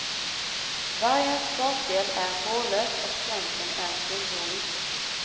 Vargens bakdel är hårlös och svansen är tunnhårig.